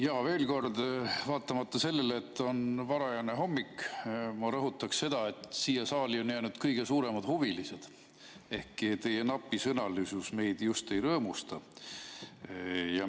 Jaa, veel kord, vaatamata sellele, et on varajane hommik, ma rõhutaksin seda, et siia saali on jäänud kõige suuremad huvilised, ehkki teie napisõnalisus meid just ei rõõmusta.